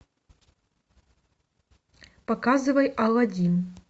показывай алладин